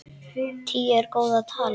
Tíu er góð tala.